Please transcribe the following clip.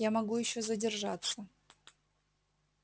я могу ещё задержаться